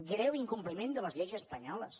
greu incompliment de les lleis espanyoles